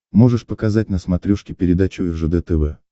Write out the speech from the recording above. можешь показать на смотрешке передачу ржд тв